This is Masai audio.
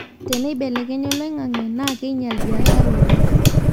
teneibelekenya oloingange naa keinyala biashara oleng